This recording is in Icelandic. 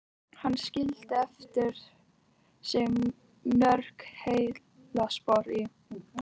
Hann skildi eftir sig mörg heillaspor í